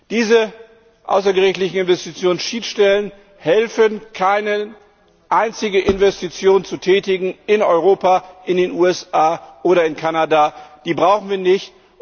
Diese außergerichtlichen Investitionsschiedsstellen helfen keine einzige Investition zu tätigen in Europa, in den USA oder in Kanada, die brauchen wir nicht.